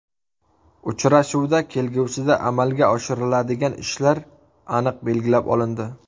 Uchrashuvda kelgusida amalga oshiriladigan ishlar aniq belgilab olindi.